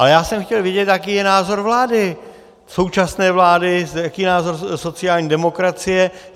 Ale já jsem chtěl vědět, jaký je názor vlády, současné vlády, jaký je názor sociální demokracie.